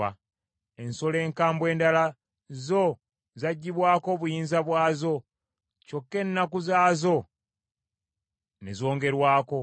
Ensolo enkambwe endala zo zaggibwako obuyinza bwazo, kyokka ennaku zaazo ne zongerwako.